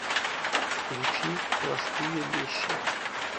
включи простые вещи